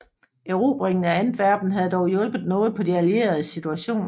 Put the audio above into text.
Erobringen af Antwerpen havde dog hjulpet noget på de allieredes situation